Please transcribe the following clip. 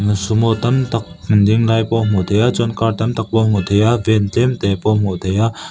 sumo tam tak an ding lai pawh a hmuh theih a chuan car tam tak pawh a hmuh theih a ven tlem te pawh a hmuh thei a--